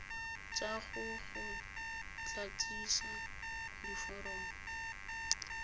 tsa go go tlatsisa diforomo